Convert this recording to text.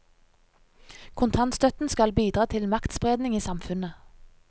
Kontantstøtten skal bidra til maktspredning i samfunnet.